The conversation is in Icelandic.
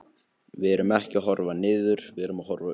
Við erum ekki að horfa niður, við erum að horfa upp.